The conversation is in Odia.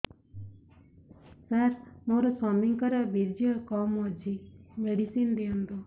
ସାର ମୋର ସ୍ୱାମୀଙ୍କର ବୀର୍ଯ୍ୟ କମ ଅଛି ମେଡିସିନ ଦିଅନ୍ତୁ